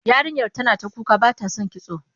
Yarinyar tana ta kuka ba ta son kitso.